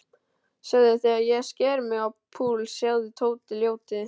Sjáðu þegar ég sker mig á púls, sjáðu, Tóti ljóti.